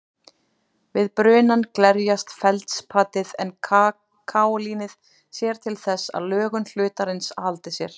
Við brunann glerjast feldspatið en kaólínið sér til þess að lögun hlutarins haldi sér.